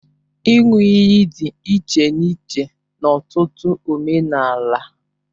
Ịṅụ iyi dị iche n'iche n'ọtụtụ omenala